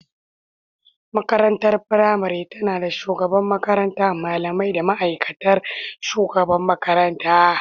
Makarantar firamare tana da shugaban makaranta, malamai, da mataimakiyar shugaban makaranta.